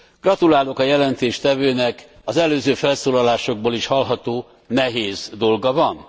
Gratulálok a jelentéstevőnek. Az előző felszólalásokból is hallható nehéz dolga van.